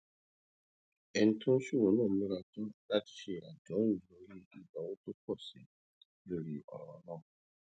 ẹni tó ń ṣòwò náà múra tán láti ṣe àdéhùn lórí ìnáwó tó pò sí i lórí òràn náà